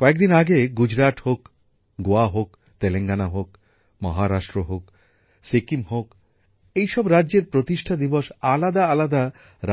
কয়েকদিন আগে গুজরাট হোক গোয়া হোক তেলেঙ্গানা হোক মহারাষ্ট্র হোক সিকিম হোক এই সব রাজ্যের প্রতিষ্ঠা দিবস আলাদা আলাদা